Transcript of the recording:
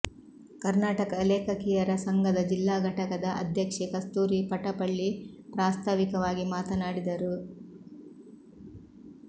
ಕರ್ನಾಟಕ ಲೇಖಕಿಯರ ಸಂಘದ ಜಿಲ್ಲಾ ಘಟಕದ ಅಧ್ಯಕ್ಷೆ ಕಸ್ತೂರಿ ಪಟಪಳ್ಳಿ ಪ್ರಾಸ್ತಾವಿಕವಾಗಿ ಮಾತನಾಡಿದರು